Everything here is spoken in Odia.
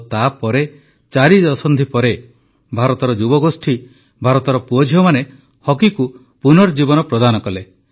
ଆଉ ତା ପରେ ଚାରି ଦଶନ୍ଧି ପରେ ଭାରତର ଯୁବଗୋଷ୍ଠୀ ଭାରତର ପୁଅଝିଅମାନେ ହକିକୁ ପୁନର୍ଜୀବନ ପ୍ରଦାନ କଲେ